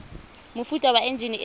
mofuta wa enjine e e